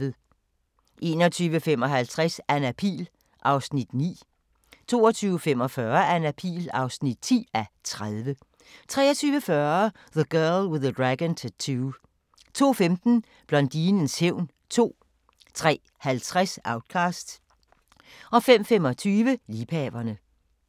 21:55: Anna Pihl (9:30) 22:45: Anna Pihl (10:30) 23:40: The Girl with the Dragon Tattoo 02:15: Blondinens hævn 2 03:50: Outcast 05:25: Liebhaverne